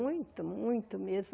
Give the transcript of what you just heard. Muito, muito mesmo.